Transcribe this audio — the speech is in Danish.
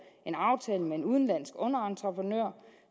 en aftale med en udenlandsk underentreprenør